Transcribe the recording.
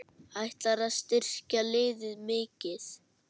Ætlarðu að styrkja liðið mikið?